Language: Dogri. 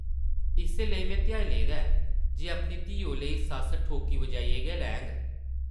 इस्सै लेई में ध्याई लेदा ऐ जे अपनी धिऊ लेई सस्स ठोकी-बजाइयै गै लैङ ।